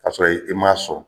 Kasɔrɔ i m'a sɔn.